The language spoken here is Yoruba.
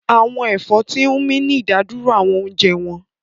Àwọn ẹ̀fọ́ tí ń mí ní ìdádúró àwọn oúnjẹ wọn